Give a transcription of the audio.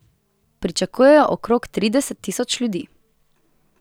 Pričakujejo okrog trideset tisoč ljudi.